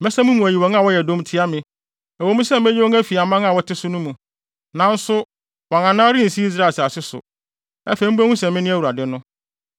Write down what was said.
Mɛsa mo mu ayi wɔn a wɔyɛ dɔm tia me. Ɛwɔ mu sɛ meyi wɔn afi aman a wɔte so no mu, nanso wɔn anan rensi Israel asase so. Afei mubehu sɛ mene Awurade no.